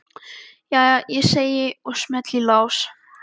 Jæja, segi ég og smelli í lás.